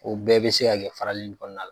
O bɛɛ be se ka kɛ farali in kɔnɔna la